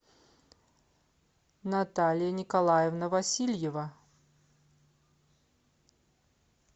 наталья николаевна васильева